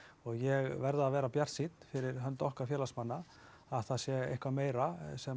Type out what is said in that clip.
ég verð að vera bjartsýnn fyrir hönd okkar félagsmanna að það sé eitthvað meira sem